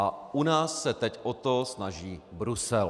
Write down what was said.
A u nás se teď o to snaží Brusel.